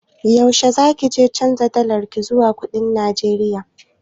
Yaushe za kije canja dalarki zuwa kuɗin Najeriya?